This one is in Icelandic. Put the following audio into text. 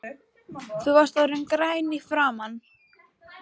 Þú varst orðinn grænn í framan.